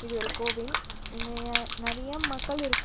இது ஒரு கோவில் இங்கய நறையா மக்கள் இருக்கா--